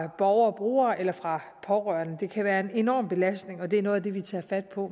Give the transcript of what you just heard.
borgerebrugere eller fra pårørende det kan være en enorm belastning og det er noget af det vi tager fat på